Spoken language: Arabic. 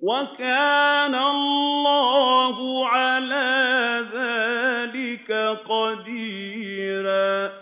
وَكَانَ اللَّهُ عَلَىٰ ذَٰلِكَ قَدِيرًا